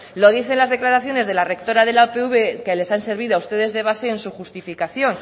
lo dicen las declaraciones de la rectora de la upv que les han servido a ustedes de base en su justificación